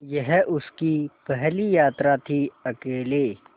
यह उसकी पहली यात्रा थीअकेले